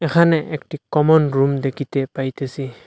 এখানে একটি common room দেকিতে পাইতেসি।